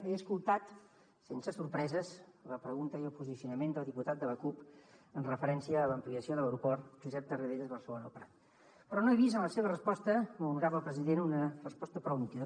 he escoltat sense sorpreses la pregunta i el posicionament del diputat de la cup amb referència a l’ampliació de l’aeroport josep tarradellas barcelona el prat però no he vist en la seva resposta molt honorable president una resposta prou nítida